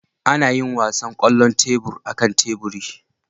Ana yin wasan kwallon tebur akan teburi